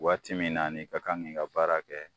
Waati min na n'i ka kan ŋ'i ka baara kɛ